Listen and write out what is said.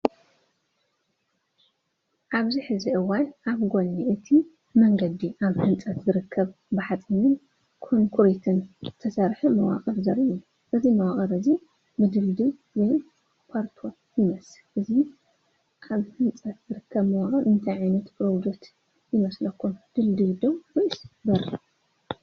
ኣብዚ ሕዚ እዋን ኣብ ጎኒ እቲ መንገዲ ኣብ ህንፀት ዝርከብ ብሓፂንን ኮንክሪትን ዝተሰርሐ መዋቕር ዘርኢ እዩ። እዚ መዋቕር እዚ ድልድል ወይ ፖርቶል ይመስል። እዚ ኣብ ህንፀት ዝርከብ መዋቕር እንታይ ዓይነት ፕሮጀክት ይመስለኩም? ድልድል ድዩ ወይስ በሪ?